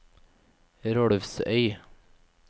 Rolvsøy